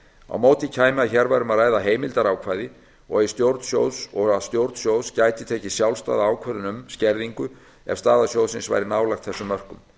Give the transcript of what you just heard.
á móti kæmi að hér væri um að ræða heimildarákvæði og að stjórn sjóðs gæti tekið sjálfstæða ákvörðun um skerðingu ef staða sjóðsins væri nálægt þessum mörkum